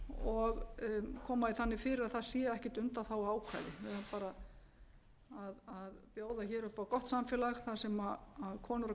og koma því þannig fyrir að það sé ekkert undanþáguákvæði við eigum bara að bjóða hér upp á gott samfélag þar sem konur og